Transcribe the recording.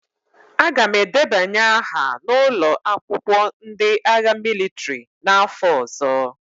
Aga m edebanye aha na ụlọ akwụkwọ ndị agha mịlịtrị n'afọ ọzọ.